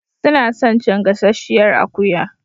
Suna son cin gasasshiyar akuya.